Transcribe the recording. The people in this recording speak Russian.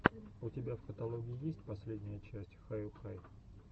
у тебя в каталоге есть последняя часть хаюхай